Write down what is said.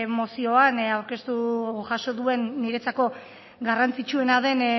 mozioan aurkeztu jaso duen niretzako garrantzitsuena den